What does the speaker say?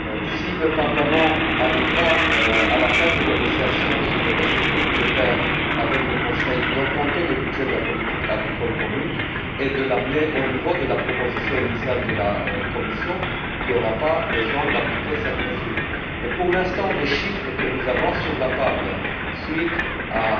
Si le Parlement parvient, à la fin des négociations sur les perspectives budgétaires avec le Conseil, à augmenter le budget de la politique agricole commune et à l'amener au niveau de la proposition initiale de la Commission, il ne sera pas nécessaire d'appliquer cette mesure. Mais pour l'instant, le chiffre que nous avons sur la table, suite à